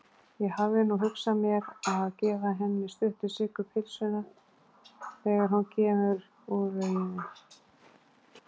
Ég hafði nú hugsað mér að gefa henni Stuttu-Siggu pylsuna þegar hún kemur úr lauginni.